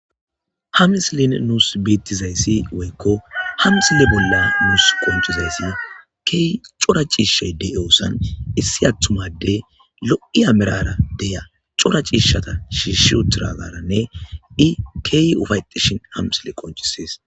Ha misile nuussi beeththizayssi woykko ha misile bolla nuussi qonccizayssi keehi cora de7iyoosan issi aththuma addee lo7iya meraara de7iya cora ciishshatha shiishshi7uththidaagaaranne i keehi ufaththishin ha misile qonccissees.